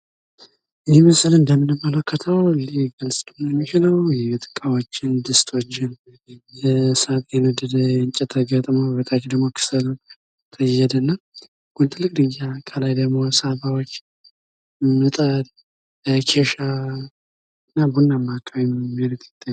ይህ ምስል እምደምንመለከተው የቤት እቃዎችን ብረምጣድ ከሰል እና የመሳሰሉ የቤት እቃዎችን የያዘ የቤት እቃዎች ስብስብ ነው።